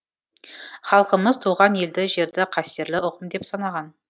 халқымыз туған елді жерді қастерлі ұғым деп санаған